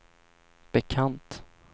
bekant